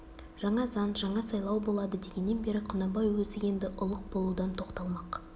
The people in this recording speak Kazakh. жаңа заң жаңа сайлау болады дегеннен бері құнанбай өзі енді ұлық болудан тоқталмақ